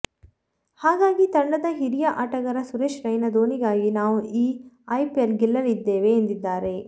ಹಾಗಾಗಿ ತಂಡದ ಹಿರಿಯ ಆಟಗಾರ ಸುರೇಶ್ ರೈನಾ ಧೋನಿಗಾಗಿ ನಾವು ಈ ಐಪಿಎಲ್ ಗೆಲ್ಲಲಿದ್ದೇವೆ ಎಂದಿದ್ದಾರೆ